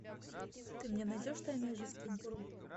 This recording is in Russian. ты мне найдешь тайная жизнь кенгуру